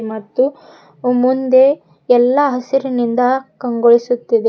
ಮತ್ತು ಮುಂದೆ ಎಲ್ಲಾ ಹಸಿರಿನಿಂದ ಕಂಗೊಳಿಸುತ್ತಿದೆ.